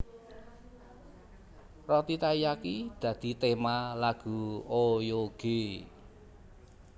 Roti taiyaki dadi tema lagu Oyoge